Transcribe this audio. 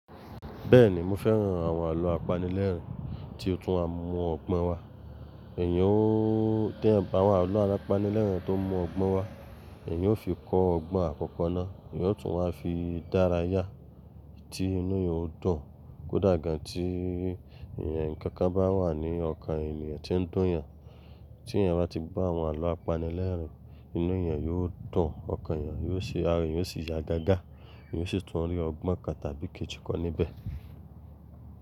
Bẹ́ẹ̀ni, mo fẹ́ran àwọn àlọ́ apanilẹ́rìn tí ó tún á mú ọgbọ́n wá. Èèyàn tó bá wà á lọ̀ apanilẹ́rìn tó mú ọgbọ́n wá, èèyàn ó fi kọ́ ọgbọ́n àkọ́kọ́ náà, èèyàn ó tún á fi dáràyà tí inú èèyàn ó dùn. Kódà gan tí ẹ̀yàn kankan bá wà ní ọkàn èèyàn tó ń dùn yàn, tí èèyàn bá ti bá àwọn àlọ́ apanilẹ́rìn, inú èèyàn yóò dùn, ọkàn èèyàn yóò ṣe ara, èèyàn ó sì yá gágá, èèyàn ó sì tún rí ọgbọ́n kan tàbí kejì kọ́ níbẹ̀.